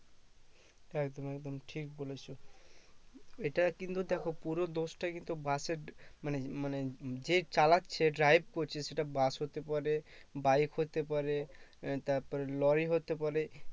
একদম একদম ঠিক বলেছো এটা কিন্তু দেখো পুরো দোষটা কিন্তু bus এর মানে মানে যে চালাচ্ছে drive করছে সেটা bus হতে পারে bike হতে পারে তারপর lorry হতে পারে